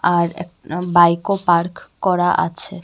আর একটা বাইকও পার্ক করা আছে.